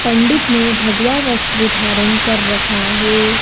पंडित ने भगवा वस्त्र धारण कर रखा है।